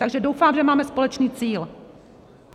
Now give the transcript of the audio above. Takže doufám, že máme společný cíl.